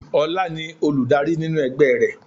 Ola ni Olùdarí nínú ẹgbẹ́ rẹ̀